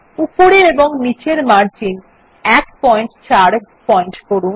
উপরের এবং নীচের মার্জিন ১৪pt করুন